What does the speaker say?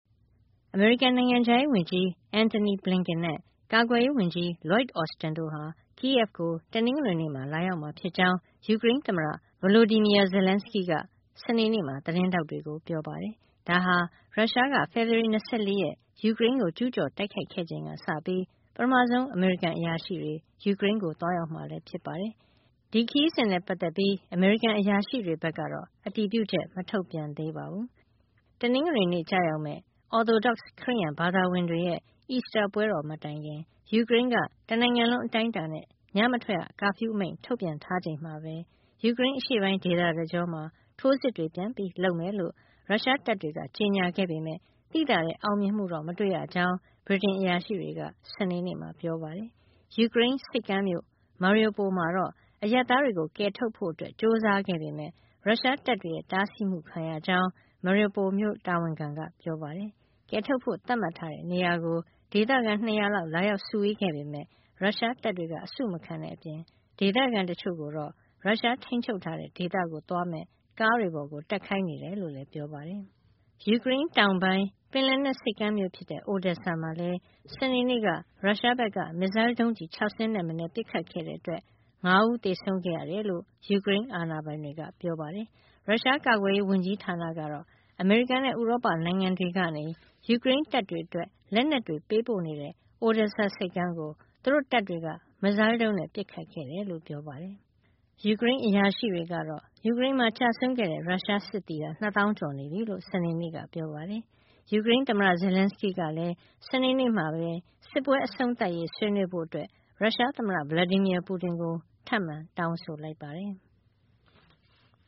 အမေရိကန် နိုင်ငံခြားရေးဝန်ကြီး Antony Blinken နဲ့ ကာကွယ်ရေးဝန်ကြီး Lloyd Austin တို့ဟာ Kyiv ကို တနင်္ဂနွေနေ့မှာ လာရောက်မှာဖြစ်ကြောင်း ယူကရိန်းသမ္မတ Volodymyr Zelenskyy က စနေနေ့မှာ သတင်းထောက်တွေကို ပြောပါတယ်။ ဒါဟာ ရုရှားက ဖေဖော်ဝါရီ ၂၄ ရက် ယူကရိန်းကို ကျူးကျော်တိုက်ခိုက်ခဲ့ချိန်ကစပြီး ပထမဆုံး အမေရိကန်အရာရှိတွေ ယူကရိန်းကို သွားရောက်မှာလည်း ဖြစ်ပါတယ်။ ဒီခရီးစဉ်နဲ့ပတ်သက်ပြီး အမေရိကန် အရာရှိတွေဘက်ကတော့ အတည်ပြုချက် မထုတ်ပြန်သေးပါဘူး။ တနင်္ဂနွေနေ့ ကျရောက်မယ့် Orthodox ခရစ်ယာန်ဘာသာဝင်တွေရဲ့ အီစတာပွဲတော် မတိုင်ခင် ယူကရိန်းက တနိုင်ငံလုံး အတိုင်းအတာနဲ့ ညမထွက်ရ ကာဖျူးမိန့် ထုတ်ပြန်ထားချိန်မှာပဲ ယူကရိန်း အရှေ့ပိုင်းဒေသတကြောမှာ ထိုးစစ်တွေ ပြန်လုပ်မယ်လို့ ရုရှားတပ်တွေက ကြေညာခဲ့ပေမဲ့ သိသာတဲ့ အောင်မြင်မှု မတွေ့ရကြောင်း ဗြိတိန်အရာရှိတွေက စနေနေ့မှာ ပြောပါတယ်။ ယူကရိန်းဆိပ်ကမ်းမြို့ Mariupol မှာတော့ အရပ်သားတွေကို ကယ်ထုတ်ဖို့ ကြိုးစားခဲ့ပေမဲ့ ရုရှားတပ်တွေရဲ့ တားဆီးမှုခံရကြောင်း Mariupol မြို့ တာဝန်ခံက ပြောပါတယ်။ ကယ်ထုတ်ဖို့ သတ်မှတ်ထားတဲ့နေရာကို ဒေသခံ ၂၀၀ လောက် လာရောက်စုဝေးခဲ့ပေမဲ့ ရုရှားတပ်တွေက အစုမခံတဲ့အပြင် ဒေသခံတချို့ကိုတော့ ရုရှားထိန်းချုပ်ထားတဲ့ ဒေသကို သွားမယ့် ကားတွေပေါ် တက်ခိုင်းနေကြောင်းလည်း ပြောပါတယ်။ ယူကရိန်းတောင်ပိုင်း ပင်လယ်နက် ဆိပ်ကမ်းမြို့ဖြစ်တဲ့ Odesa မှာလည်း စနေနေ့က ရုရှားဘက်က မစ်ဇိုင်းဒုံးကျည် ၆ စင်းထက်မနည်း ပစ်ခတ်ခဲ့တဲ့အတွက် လူ ၅ ဦး သေဆုံးခဲ့ရတယ်လို့ ယူကရိန်းအာဏာပိုင်တွေက ပြောပါတယ်။ ရုရှားကာကွယ်ရေး ဝန်ကြီးဌာနကတော့ အမေရိကန်နဲ့ ဥရောပနိုင်ငံတွေကနေ ယူကရိန်းတပ်တွေအတွက် လက်နက်တွေ ပေးပို့နေတဲ့ Odesa ဆိပ်ကမ်းကို သူတို့တပ်တွေက မစ်ဇိုင်းဒုံးနဲ့ ပစ်ခတ်ခဲ့တယ်လို့ ပြောပါတယ်။ ယူကရိန်းအရာရှိတွေကတော့ ယူကရိန်းမှာ ကျဆုံးတဲ့ ရုရှားစစ်သည် ၂ သောင်း ကျော်နေပြီလို့ စနေနေ့က ပြောပါတယ်။ ယူကရိန်းသမ္မတ Zelenskyy ကတော့ စနေနေ့မှာပဲ စစ်ပွဲအဆုံးသတ်ရေး ဆွေးနွေးဖို့ ရုရှားသမ္မတ Vladimir Putin ကို ထပ်မံ တောင်းဆိုလိုက်ပါတယ်။